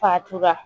Fatura